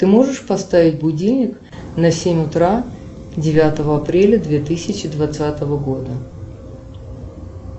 ты можешь поставить будильник на семь утра девятого апреля две тысячи двадцатого года